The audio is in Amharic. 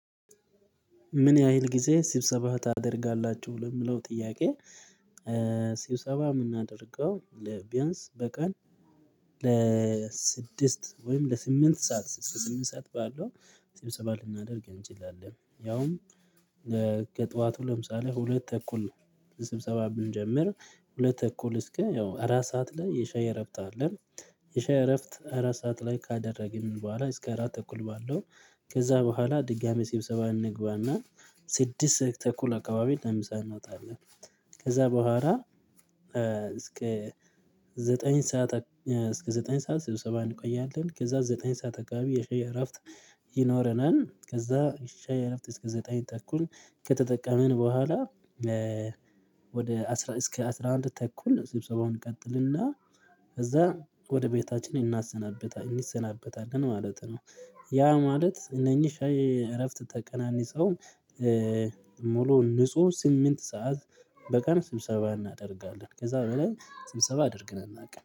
ምን ያህል ጊዜ ስብሰባ ታደርጋላችሁ? ለሚለው ጥያቄ ስብሰባ ምናደርገው ለ ቢያንስ በቀን ለስድስት ወይም ለስምንት ሰዓት እስከ ስምንት ሰዓት ባለው ስብሰባ ልናደርግ እንችላለን ያውም ከጠዋቱ ለምሳሌ ሁለት ተኩል ስብሰባ ብንጀምር ሁለት ተኩል እስከ ያው አራት ሰዓት ላይ የሻይ እረፍት አለ የሻይ እረፍት አራት ሰዓት ላይ ካደረግን በኋላ እስከ አራት ተኩል ባለው ከዛ በኋላ ድጋሚ ስብሰባ እንገባና ስድስት ተኩል አካባቢ ለምሳ አንውጣለን። ከዛ በኋላ እስከ ዘጠኝ ሰዓት እስከ ዘጠኝ ሰዓት ስብሰባ እንቆያለን ከዛ ዘጠኝ ሰዓት አካባቢ የሻይ እረፍት ይኖረናል ከዛ የሻይ እረፍት እስከ ዘጠኝ ተኩል ከተጠቀምን በኋላ ወደ አስራ እስከ አስራ አንድ ተኩል ስብሰባውን እንቀጥልና ከዛ ወደ ቤታችን እናሰናብታለን እንሰናበታለን ማለት ነው ያ ማለት እነኚህ ሻይ እረፍት ተቀናንሰው ሙሉ ንጹህ ስምንት ሰዓት በቀን ስብሰባ እናደርጋለን ከዛ በላይ ስብሰባ አድርገን አናቅም